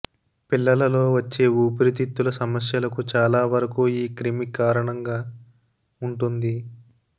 పిల్లలలో వచ్చే ఊపిరితిత్తుల సమస్యలకు చాలావరకు ఈ క్రిమి కారణంగా వుంటుంది